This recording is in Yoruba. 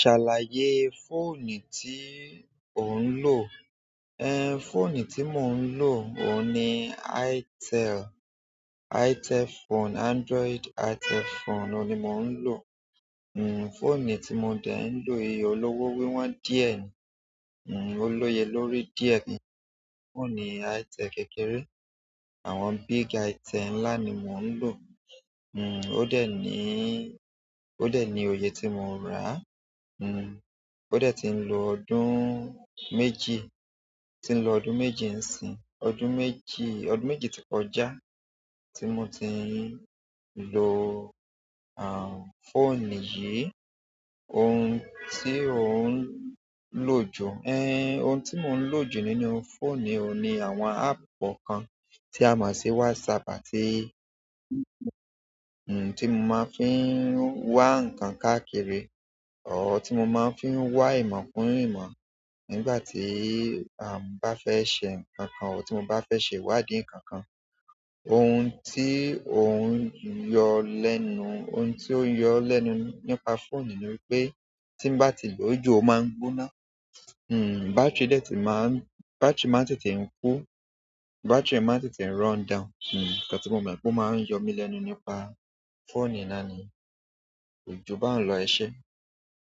Ṣàlàyé fóònù tí ò ń lò. Ehn, fóònù tí mò ń lò, òun ni Itel, Itel phone, Android Itel phone, òun ni mò ń lò. Nn, fóònù tí mọ dẹ̀ ń lò yìí, olówó wíwọ́n díẹ̀ ni, nn, ó lóye lórí díẹ̀ ni. Ó ò ní Itel kékeré, àwọn big Itel ńlá ni mò ń lò. Nn, ó dẹ̀ níí, ó dẹ̀ ní òye tí mò ń rà. Nn, ó dẹ̀ ti ń lo ọdún méjì, tí ń lo ọdún méjì ń sìn, ọdún méjì, ọdún méjì tó kọjá tí mo ti ń lo, àh, fóònù yìí. Oun ti o n lo ju? Ehn oun ti mo n lo ju nínú phonu yi ni àwọn appu kankan ti a mo si whatsapp àti iti mo fi maan wa inkan káàkiri ọ̀h, tí mo máa ń fi wá ìmọ̀ kun ìmọ̀ nígbà tí, àh, mo bá fẹ́ ṣe nǹkan kan, tì mo bá fẹ́ ṣe ìwádìí nǹkan kan. Ohun tí òun yọ lẹ́nu, ohun tí ó ń yọ ọ́ lẹ́nu nípa fóònù ni wípé tí bá ti lò ó jù ó máa ń gbóná. Nn, bátírì dẹ̀ ti máa ń, bátírì máa ń tètè kú, bátírì máa ń tètè run down. Nn, nǹkan tí mo mọ̀ pé ó máa ń yọ mí lẹ́nu nípa fóònù ni láti lò ó jù bá ń lọ eṣẹ.